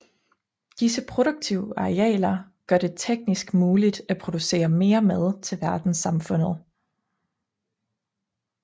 Disse produktive arealer gør det teknisk muligt at producere mere mad til verdenssamfundet